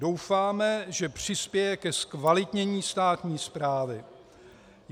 Doufáme, že přispěje ke zkvalitnění státní správy.